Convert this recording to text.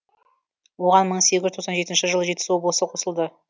оған мың сегіз жүз тоқсан жетінші жылы жетісу облысы қосылды